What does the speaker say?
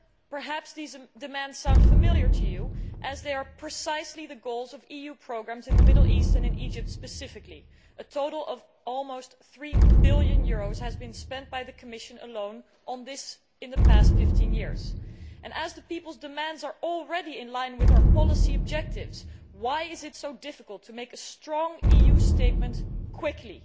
Perhaps these demands sound familiar to you as they are precisely the goals of EU programmes in the Middle East, and in Egypt specifically. The Commission alone has spent a total of almost EUR 3 billion on this in the past 15 years. As the people's demands are already in line with our policy objectives, why is it so difficult to make a strong EU statement quickly?